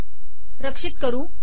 रक्षित करू